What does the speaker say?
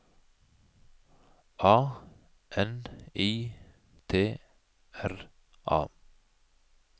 A N I T R A